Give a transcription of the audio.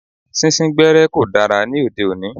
Sín sín gbẹ́ẹ́rẹ́ kò dára ní òde òní.